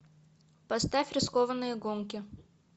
поставь рискованные гонки